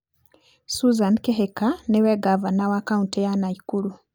Susan Kihika nĩ we ngavana wa kaũntĩ ya Nakuru.